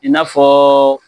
I n'a fɔɔ